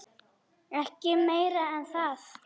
Ekki meira en það.